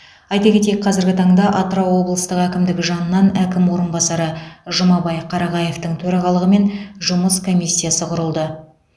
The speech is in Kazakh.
айта кетейік қазіргі таңда атырау облыстық әкімдігі жанынан әкім орынбасары жұмабай қарағаевтың төрағалығымен жұмыс комиссиясы құрылды